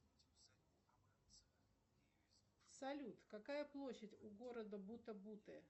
салют какая площадь у города бута буте